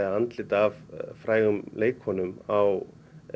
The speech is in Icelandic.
andlit af frægum leikkonum á